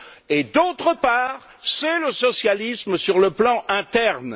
Et, d'autre part, c'est le socialisme sur le plan interne.